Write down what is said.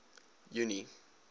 junie